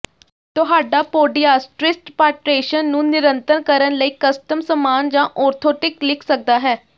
ਤੁਹਾਡਾ ਪੋਡਿਆਸਟ੍ਰਿਸਟ ਪ੍ਰਾਟੇਸ਼ਨ ਨੂੰ ਨਿਯੰਤਰਣ ਕਰਨ ਲਈ ਕਸਟਮ ਸਮਾਨ ਜਾਂ ਔਰਥੋਟਿਕ ਲਿਖ ਸਕਦਾ ਹੈ